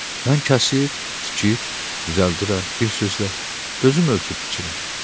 Mən kəsir, tikir, düzəldirəm, bir sözlə özüm ölçüb biçirəm.